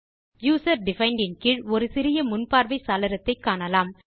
user defined இன் கீழ் ஒரு சிறிய முன்பார்வை சாளரத்தை காணலாம்